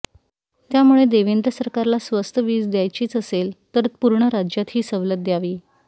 त्यामुळे देवेंद्र सरकारला स्वस्त वीज द्यायचीच असेल तर पूर्ण राज्यात ही सवलत द्यावी